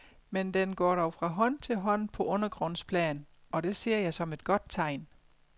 Men den går dog fra hånd til hånd på undergrundsplan, og det ser jeg som et godt tegn.